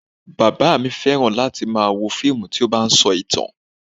Bàbá mi fẹ́ran láti máa wo fíìmù tí ó bá ń sọ ìtàn